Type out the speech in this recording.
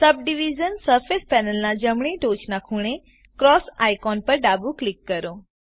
subdivision surface પેનલના જમણી ટોચના ખૂણે ક્રોસ આઇકોન પર ક્લિક કરો